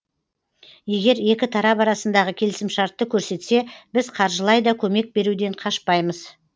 егер екі тарап арасындағы келісімшартты көрсетсе біз қаржылай да көмек беруден қашпаймыз